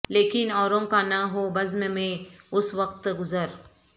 لیکن اوروں کا نہ ہو بزم میں اس وقت گذر